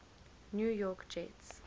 new york jets